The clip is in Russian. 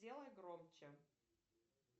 сделай громче